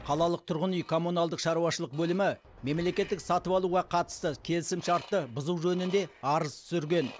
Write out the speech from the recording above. қалалық тұрғын үй коммуналдық шаруашылық бөлімі мемлекеттік сатып алуға қатысты келісімшартты бұзу жөнінде арыз түсірген